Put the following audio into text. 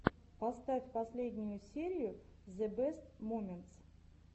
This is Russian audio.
поставь последнюю серию зэ бэст моментс